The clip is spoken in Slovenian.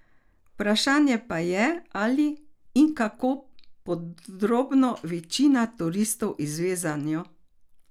Vprašanje pa je, ali in kako podrobno večina turistov izve zanjo.